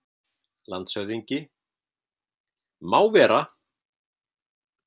LANDSHÖFÐINGI: Má vera!